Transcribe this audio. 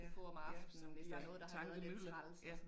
Ja, ja som bliver til tankemylder ja